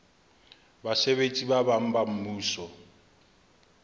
basebetsi ba bang ba mmuso